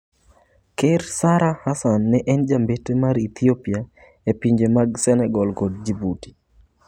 Ker Sara Hasan ne en jambetre mar Ethiopia e pinje mag Senegal kod Djibouti.